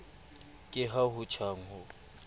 ke ha ho tjhang ho